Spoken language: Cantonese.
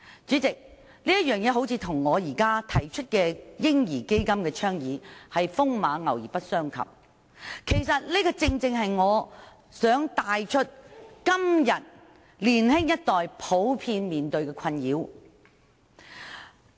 主席，這件事似乎與我現在倡議成立"嬰兒基金"風馬牛不相及，但這正正能帶出年青一代普遍面對的困擾。